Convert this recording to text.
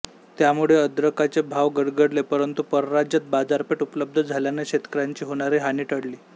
त्यामुळे अद्रकाचे भाव गडगडले परंतु परराज्यात बाजारपेठ उपलब्ध झाल्याने शेतकयांची होणारी हानी टळली